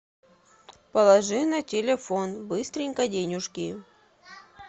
положи на телефон быстренько денежки